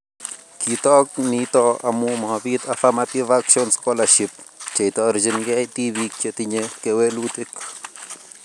Kitook nito amu mabiit affirmative action scholarships cheitorjingei tibiik chetinye kewelutik